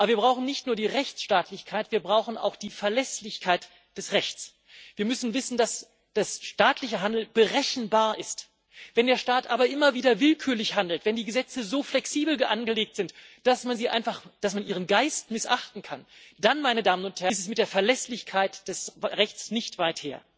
Aber wir brauchen nicht nur die Rechtsstaatlichkeit, wir brauchen auch die Verlässlichkeit des Rechts. Wir müssen wissen, dass das staatliche Handeln berechenbar ist. Wenn der Staat aber immer wieder willkürlich handelt, wenn die Gesetze so flexibel angelegt sind, dass man ihren Geist einfach missachten kann, dann ist es mit der Verlässlichkeit des Rechts nicht weit her.